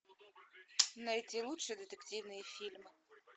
найди лучшие детективные фильмы